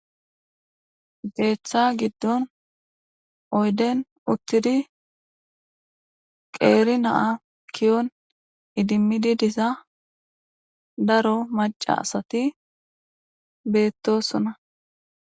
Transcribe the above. Keththa giddon oydden uththidi qeeri na'a ke'on iddimidi diza daro macca assati beetosona